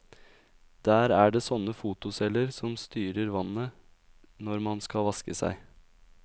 Der er det sånne fotoceller som styrer vannet når man skal vaske seg.